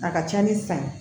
A ka ca ni san ye